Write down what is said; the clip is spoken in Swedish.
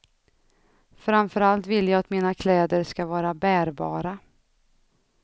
Framför allt vill jag att mina kläder ska vara bärbara.